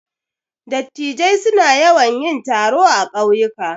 Dattijai suna yawan yin taro a ƙauyuka.